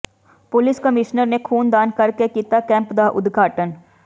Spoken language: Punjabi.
ਪੁਲੀਸ ਕਮਿਸ਼ਨਰ ਨੇ ਖ਼ੂਨਦਾਨ ਕਰਕੇ ਕੀਤਾ ਕੈਂਪ ਦਾ ਉਦਘਾਟਨ